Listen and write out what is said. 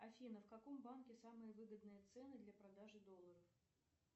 афина в каком банке самые выгодные цены для продажи долларов